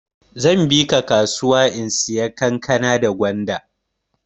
Zan bika kasuya in saya kankana da gwanda.